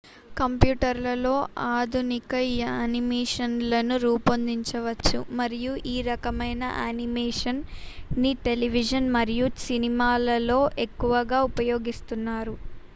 కంప్యూటర్లలో ఆధునిక యానిమేషన్లను రూపొందించవచ్చు మరియు ఈ రకమైన యానిమేషన్ ని టెలివిజన్ మరియు సినిమాలలో ఎక్కువగా ఉపయోగిస్తున్నారు